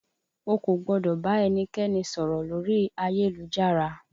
O kò gbọ́dọ̀ bá ẹnikẹ́ni sọ̀rọ̀ lórí ayélujára!